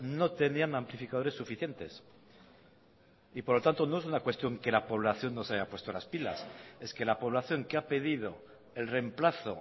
no tenían amplificadores suficientes y por lo tanto no es una cuestión que la población no se haya puesto las pilas es que la población que ha pedido el reemplazo